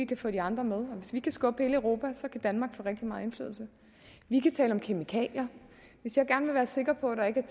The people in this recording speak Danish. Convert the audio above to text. kan få de andre med hvis vi kan skubbe hele europa kan danmark få rigtig meget indflydelse vi kan tale om kemikalier hvis jeg gerne vil være sikker på at der ikke er